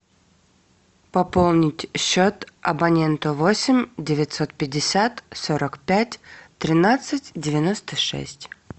пополнить счет абоненту восемь девятьсот пятьдесят сорок пять тринадцать девяносто шесть